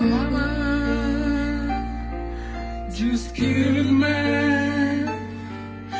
порно жёсткий умное